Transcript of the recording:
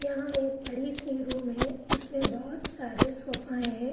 यह एक बड़ी सी रूम है। इसमें बहोत सारे सोफ़ाएँ हैं।